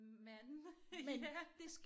Men ja